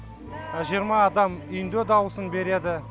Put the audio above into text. жиырма адам үйінде дауысын береді